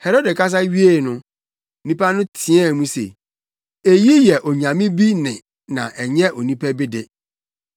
Herode kasa wiei no, nnipa no teɛɛ mu se, “Eyi yɛ onyame bi nne na ɛnyɛ onipa bi de!”